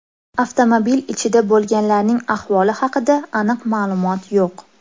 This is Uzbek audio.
Avtomobil ichida bo‘lganlarning ahvoli haqida aniq ma’lumot yo‘q.